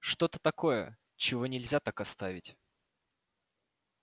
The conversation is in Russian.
что-то такое чего нельзя так оставить